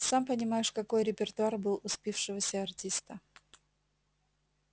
сам понимаешь какой репертуар был у спившегося артиста